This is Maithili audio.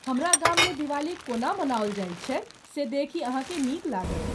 हमरा गाममे दिवाली कोना मनाओल जाइत छै से देखि अहाँकेँ नीक लागत।